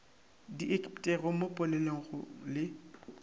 di ikepetpego mo polelong le